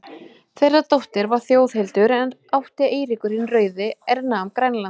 Þeirra dóttir var Þjóðhildur, er átti Eiríkur hinn rauði, er nam Grænland.